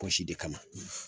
Kɔrɔsi de ka na.